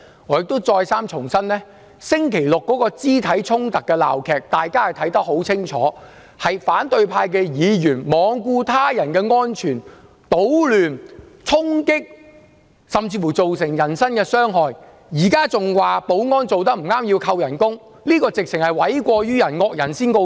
我亦再三重申，在剛過去的星期六的肢體衝突的鬧劇，大家看得很清楚，反對派議員罔顧他人安全，搗亂、衝擊，甚至造成人身傷害，現在還要指斥保安人員做得不妥，要求削減他們的薪酬，這實在是諉過於人，"惡人先告狀"。